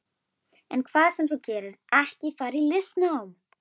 En hvað sem þú gerir, ekki fara í listnám.